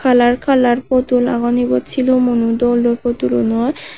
kalar kalar putul agon egun sulumuno dol dol putulunor.